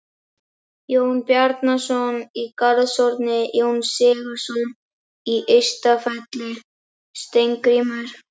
Jón Bjarnason í Garðshorni, Jón Sigurðsson á Ystafelli, Steingrímur